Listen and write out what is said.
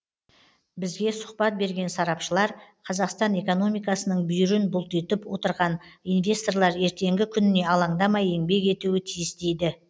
бізге сұхбат берген сарапшылар қазақстан экономикасының бүйірін бұлтитып отырған инвесторлар ертеңгі күніне алаңдамай еңбек етуі тиіс дейді